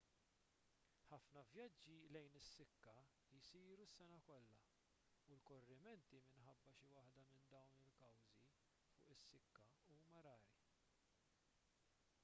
ħafna vjaġġi lejn is-sikka jsiru s-sena kollha u l-korrimenti minħabba xi waħda minn dawn il-kawżi fuq is-sikka huma rari